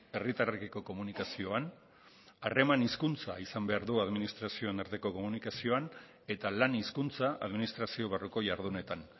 herritarrekiko komunikazioan harreman hizkuntza izan behar du administrazioen arteko komunikazioan eta lan hizkuntza administrazio barruko jardunetan